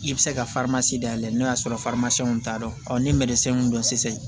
I bɛ se ka dayɛlɛ n'o y'a sɔrɔ t'a dɔn ni mun don sisan